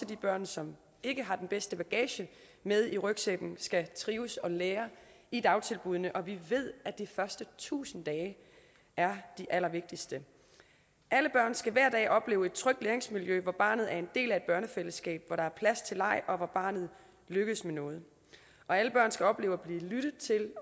de børn som ikke har den bedste bagage med i rygsækken skal trives og lære i dagtilbuddene og vi ved at de første tusind dage er de allervigtigste alle børn skal hver dag opleve et trygt læringsmiljø hvor barnet er en del af et børnefællesskab hvor der er plads til leg og hvor barnet lykkes med noget alle børn skal opleve at blive lyttet til